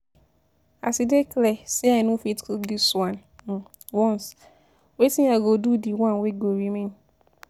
As e dey clear say I no fit cook this one um once, wetin i go do de one wey go remain?